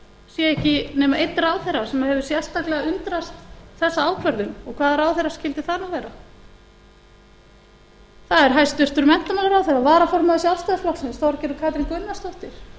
sé ekki nema einn ráðherra sem hefur sérstaklega undrast þessa ákvörðun og hvaða ráðherra skyldi það nú vera það er hæstvirtur menntamálaráðherra varaformaður sjálfstæðisflokksins þorgerður katrín gunnarsdóttir